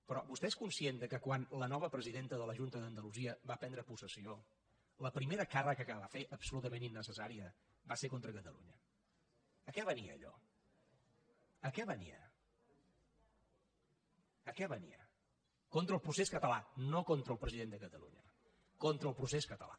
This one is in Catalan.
però vostè és conscient que quan la nova presidenta de la junta d’andalusia va prendre possessió la primera càrrega que va fer absolutament innecessària va ser contra catalunya a què venia allò a què venia contra el procés català no contra el president de catalunya contra el procés català